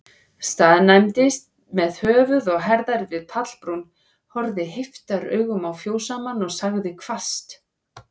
Staðnæmdist með höfuð og herðar við pallbrún, horfði heiftaraugum á fjósamann, og sagði hvasst